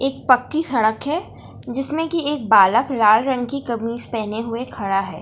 एक पक्की सड़क है जिसमें की एक बालक लाल रंग की कमीज पढ़ने हुए खड़ा है।